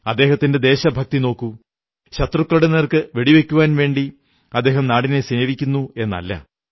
അദ്ദേഹത്തിന്റെ ദേശഭക്തി നോക്കൂ ശത്രുക്കളുടെ നേർക്കു വെടിവയ്ക്കുവാൻ വേണ്ടി അദ്ദേഹം നാടിനെ സേവിക്കുന്നു എന്നല്ല